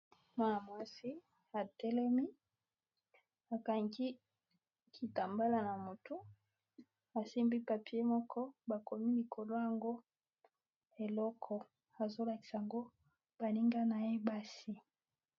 mwana-mwasi atelemi akangi kitambala na motu asimbi papie moko bakomi likolw yango eloko azolakisa yango balinga na ye basi